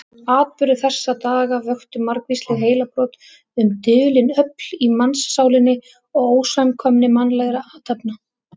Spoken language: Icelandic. Atburðir þessara daga vöktu margvísleg heilabrot um dulin öfl í mannssálinni og ósamkvæmni mannlegra athafna.